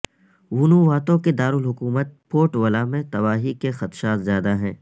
ونوواتو کےدارالحکومت Port Vila میں تباہی کے خدشات زیادہ ہیں